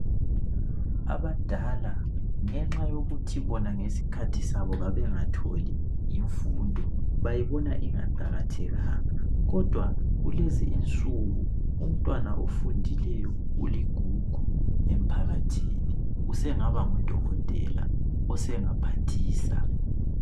Abadala ngenxa yokuthi bona ngesikhathi sabo babengatholi imfundo .Bayibona ingaqakathekanga ,kodwa kulezi insuku umntwana ofundileyo uligugu emphakathini. Usengaba ngudokotela ,osengaphathisa.